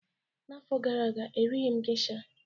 N'afọ gara aga, erighị m geisha